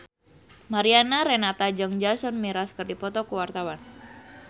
Mariana Renata jeung Jason Mraz keur dipoto ku wartawan